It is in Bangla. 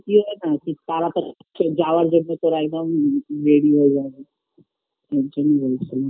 তুই আয় না তুই তাড়াতাড়ি তুই যাওয়ার জন্য তোরা একদম ম Ready হয়ে যাবি ওর জন্য বলছিলাম